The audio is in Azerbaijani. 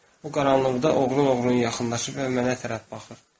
O qaranlıqda oğlunun ruhunun yaxınlığı və mənə tərəf baxır.